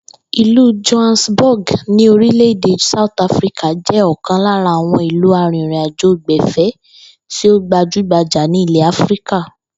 Ìlú Johannesburg ní orílè̩-èdè South Africa jé̩ o̩kàn lára àwo̩n ìlú arìnrìnàjò-gbè̩fé̩ tí ó gbajúgbajà ní ilè̩ Áfíríkà